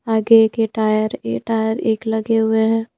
आगे एक ये टायर ए टायर एक लगे हुए हैं।